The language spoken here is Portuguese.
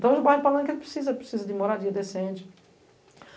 Então o bairro de Palanque precisa de moradia decente.